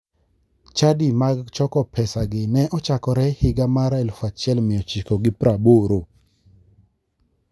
Chadi mag choko pesagi ne ochakore higa mar 1980.